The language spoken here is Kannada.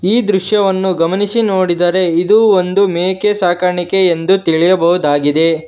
ಈ ದೃಶ್ಯವನ್ನು ಗಮನಿಸಿ ನೋಡಿದರೆ ಇದು ಒಂದು ಮೇಕೆ ಸಾಕಾಣಿಕೆ ಎಂದು ತಿಳಿಯಬಹುದಾಗಿದೆ.